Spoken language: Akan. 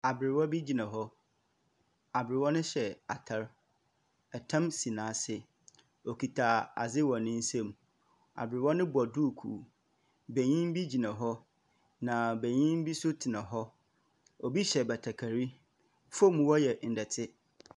Aberewa bi gyina hɔ. Aberewa no hyɛ atar. Tam si n'ase. Okita adze wɔ ne nsau. Aberewa no bɔ duukuu. Benyin bi gyina hɔ, na benyim bi nso tsena hɔ. Obi hyɛ batakari. Famu hɔ yɛ ndɛte.